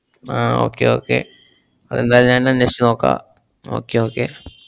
ഉം ആഹ് okay okay അതെന്തായാലും ഞാന്‍ അന്വേഷിച്ചു നോക്കാ. okay okay